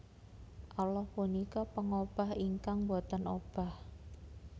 Allah punika pangobah ingkang boten obah